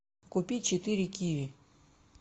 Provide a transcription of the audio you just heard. купи четыре киви